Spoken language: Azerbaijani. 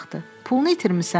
Pulunu itirmisən?